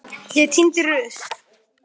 Ég tíni rusl.